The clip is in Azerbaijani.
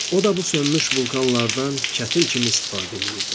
O da bu sönmüş vulkanlardan kətil kimi istifadə eləyirdi.